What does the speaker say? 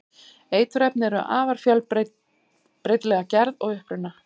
eiturefni eru afar fjölbreytileg að gerð og uppruna